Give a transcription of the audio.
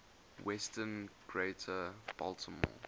western greater baltimore